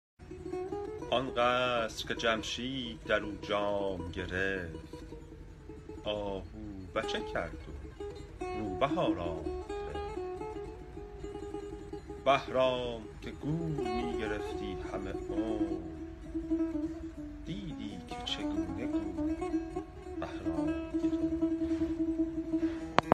آن قصر که جمشید در او جام گرفت آهو بچه کرد و روبه آرام گرفت بهرام که گور می گرفتی همه عمر دیدی که چگونه گور بهرام گرفت